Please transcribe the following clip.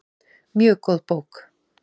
Mjög góð bók.